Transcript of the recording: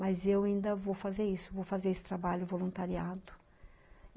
Mas eu ainda vou fazer isso, vou fazer esse trabalho voluntariado.